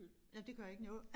Nåh det gør ikke noget